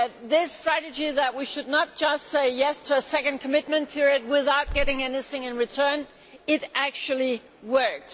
The strategy that we should not simply say yes' to a second commitment period without getting anything in return actually worked.